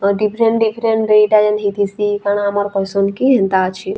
ଆଉ different different ଦୁଇଟା ଯେନ୍‌ ହେଇଥିସି କାଣା ଆମର ପସନ୍ଦ କି ହେନ୍ତା ଅଛେ।